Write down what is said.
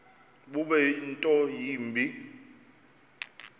bube nto yimbi